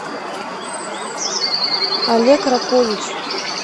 олег ракович